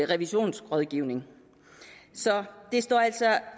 revisionsrådgivning så det står altså